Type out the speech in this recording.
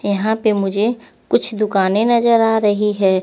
यहा पे मुझे कुछ दुकाने नज़र आ रही है।